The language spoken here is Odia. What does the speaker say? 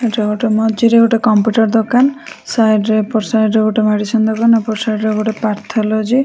ରୋଡ ର ମଝିରେ ଗୋଟେ କମ୍ପ୍ୟୁଟର ଦୋକାନ। ସାଇଡ ରେ ଏପଟ ସାଇଡ ରେ ଗୋଟେ ମେଡିସିନ ଦୋକାନ ଏପଟ ସାଇଡ ରେ ଗୋଟେ ପାଥୋଲଜୀ ।